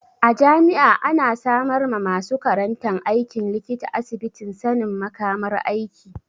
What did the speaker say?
A jami'a ana samar ma masu karantan aikin likita asibitin sanin makamar aiki.